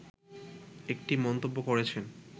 একটি মন্তব্য করেছেন